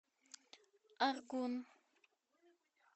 аргун